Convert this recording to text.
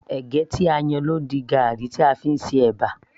ẹ̀gẹ́ tí a yan ló ń di garri tí a fí ń ṣe ẹ̀bà